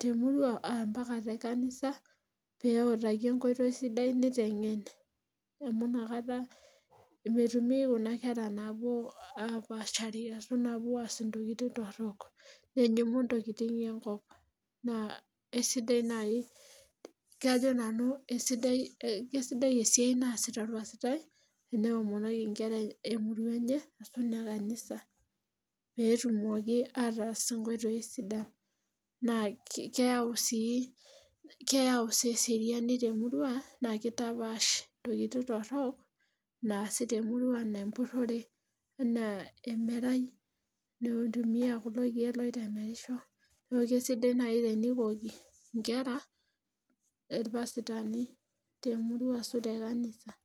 temurua ata tekanisa pee eutaki enkoitoi sidai, amu inakata metumi kuna kera napuo aapashari apuo aas intokitin torok , kajo nanu kesidai esiai naa sita olpasitai tenewomonoki inkera emurua enye, pee etumoki atas inkoitoi sidan naa idol ajo keyau sii esiariani temurua, metapaash intokitin torok enaa emerai empurore, kisidai naaji tenikoki inkera ipasitani temurua ashu too inkanisani.